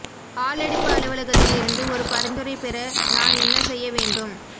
ஆளெடுப்பு அலுவலகத்தில் இருந்து ஒரு பரிந்துரை பெற நான் என்ன செய்ய வேண்டும்